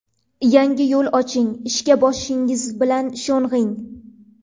Yangi yo‘l oching, ishga boshingiz bilan sho‘ng‘ing.